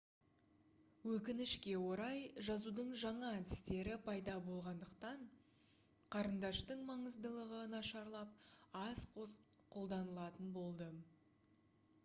өкінішке орай жазудың жаңа әдістері пайда болғандықтан қарындаштың маңыздылығы нашарлап аз қолданылатын болды